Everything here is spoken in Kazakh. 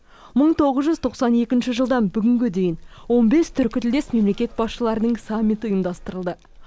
мың тоғыз жүз тоқсан екінші жылдан бүгінге дейін он бес түркітілдес мемлекет басшыларының саммиті ұйымдастырылды